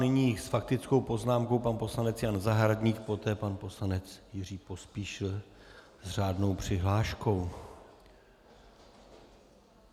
Nyní s faktickou poznámkou pan poslanec Jan Zahradník, poté pan poslanec Jiří Pospíšil s řádnou přihláškou.